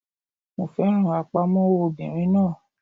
Mo fẹ́ràn àpamọ́wọ́ obìnrin náà